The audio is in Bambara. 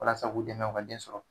Walasa k'u dɛmɛ u ka den sɔrɔ